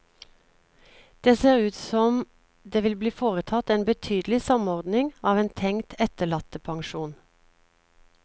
Det ser ut som det vil bli foretatt en betydelig samordning av en tenkt etterlattepensjon.